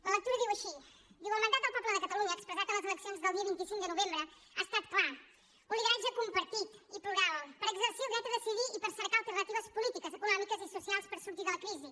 la lectura diu així el mandat del poble de catalunya expressat en les eleccions del dia vint cinc de novembre ha estat clar un lideratge compartit i plural per exercir el dret a decidir i per cercar alternatives polítiques econòmiques i socials per sortir de la crisi